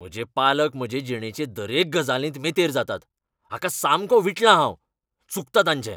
म्हजे पालक म्हजे जिणेचे दरेक गजालींत मेतेर जातात, हाका सामको वीटला हांव. चुकता तांचें.